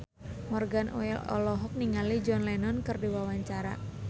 Morgan Oey olohok ningali John Lennon keur diwawancara